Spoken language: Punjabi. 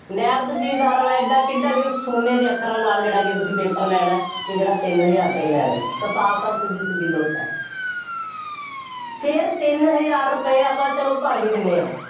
ਨਾਇਬ ਤਹਿਸੀਲਦਾਰ ਵਾਲਾ ਐਡਾ ਕਿੱਡਾ ਕੁ ਸੋਨੇ ਦੇ ਅੱਖਰਾਂ ਨਾਲ ਜਿਹੜਾ ਕਿ ਤੁਸੀਂ paper ਲੈਣਾ, ਜਿਹੜਾ ਤਿੰਨ ਹਜ਼ਾਰ ਰੁਪਇਆ ਲੈ ਰਹੇ ਹੋ, ਤਾਂ ਸਾਫ ਸਾਫ ਸਿੱਧੀ ਸਿੱਧੀ ਲੁੱਟ ਹੈ ਫੇਰ ਤਿੰਨ ਹਜ਼ਾਰ ਰੁਪਏ ਆਪਾਂ ਚੱਲੋ ਭਰ ਵੀ ਦਿੰਦੇ ਹਾਂ।